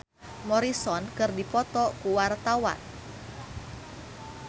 Ingrid Kansil jeung Jim Morrison keur dipoto ku wartawan